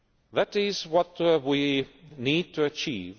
it. That is what we need to achieve.